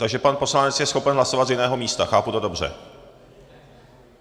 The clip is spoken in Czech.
Takže pan poslanec je schopen hlasovat z jiného místa, chápu to dobře?